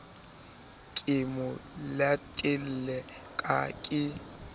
re ke mo letele ke